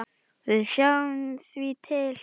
Við sjáum því til.